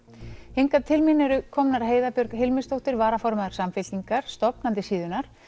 hingað til mín eru komnar Heiða Björg Hilmisdóttir varaformaður Samfylkingar stofnandi síðunnar